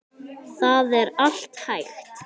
Það er allt hægt.